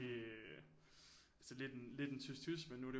Altså lidt en lidt en tys tys men nu er det